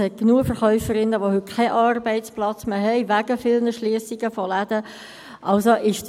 Es hat genug Verkäuferinnen, die heute wegen vieler Schliessungen von Läden keinen Arbeitsplatz mehr haben.